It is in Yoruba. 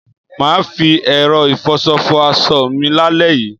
Mà á fi ẹ̀rọ ìfọṣọ fọ aṣọ mi lálẹ́ yìí.